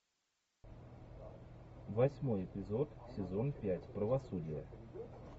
восьмой эпизод сезон пять правосудие